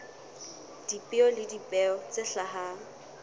dipeo le dipeo tse hlahang